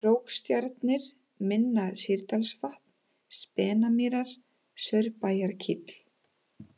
Krókstjarnir, Minna-Sýrdalsvatn, Spenamýrar, Saurbæjarkíll